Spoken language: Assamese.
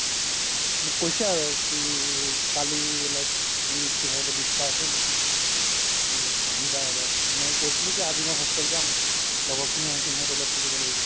মোক কৈছে আৰু কি কালি like we need to have a discussion তো আহিবা এবাৰ মই কৈছিলো কি আজি মই hostel যাম লগৰ খিনি আহিছে সিহতৰ লগত থাকিব লাগিব